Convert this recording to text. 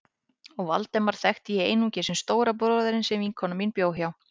Og Valdemar þekkti ég einungis sem stóra bróðurinn sem vinkona mín bjó hjá.